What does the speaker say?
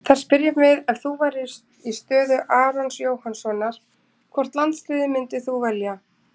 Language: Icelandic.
Þar spyrjum við: Ef þú værir í stöðu Arons Jóhannssonar, hvort landsliðið myndir þú velja?